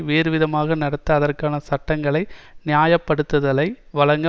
வேறு விதமாக நடத்த அதற்கான சட்டங்களை நியாயப்படுத்தலை வழங்க